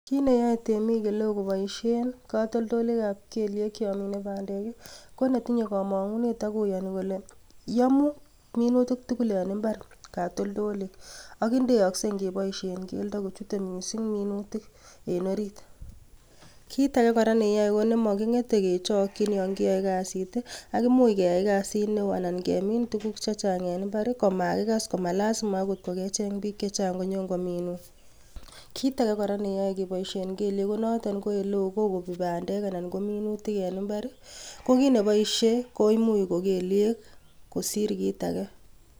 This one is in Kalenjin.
Kit neyoe temik oleo koboisien katoltolikab keliek yon mine bandek konetinye komongunet akoyoni kole yomuu minutik tugul en mbar katoltolik ak indeakse ngeboisien keldo kuchute mising minutik en orit kit ake neyo konemokingeten kechokying yongiyoe kazit ak imuch keyai kazit neo anan kemin tukuk chechang en mbar komakikas komalazima akot kokecheng biik chechang konyongominun kit ake neyoe keboisien kelyek konoton eleo kokobi bandek anan kominutik en mbar kokit neboisie ko imuch ko kelyek kosir kit ake.